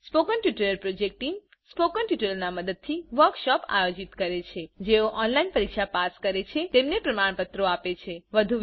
spoken tutorial project team spoken ટ્યુટોરીયલોનાં મદદથી વર્કશોપોનું આયોજન કરે છે જેઓ ઓનલાઈન પરીક્ષા પાસ કરે છે તેમને પ્રમાણપત્રો આપે છે